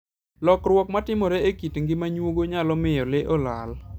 Lokruok matimore e kit ngima nyuogo, nyalo miyo le olal.